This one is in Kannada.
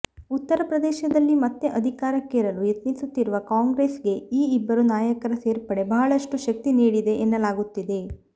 ಉತ್ತರ ಪ್ರದೇಶದಲ್ಲಿ ಮತ್ತೆ ಅಧಿಕಾರಕ್ಕೇರಲು ಯತ್ನಿಸುತ್ತಿರುವ ಕಾಂಗ್ರೆಸ್ ಗೆ ಈ ಇಬ್ಬರು ನಾಯಕರ ಸೇರ್ಪಡೆ ಬಹಳಷ್ಟು ಶಕ್ತಿ ನೀಡಿದೆ ಎನ್ನಲಾಗುತ್ತಿದೆ